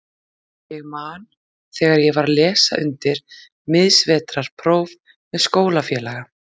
Ég man þegar ég var að lesa undir miðsvetrarpróf með skólafélaga.